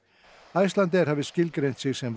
Icelandair hafi skilgreint sig sem